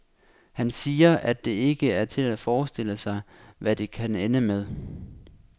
Han siger, at det ikke er til at forestille sig, hvad det kan ende med.